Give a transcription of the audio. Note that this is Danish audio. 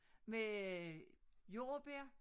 Med øh jordbær